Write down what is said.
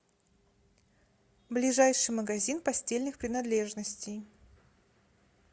ближайший магазин постельных принадлежностей